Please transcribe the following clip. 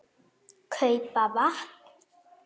. kaupa vatn.